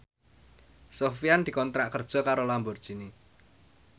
Sofyan dikontrak kerja karo Lamborghini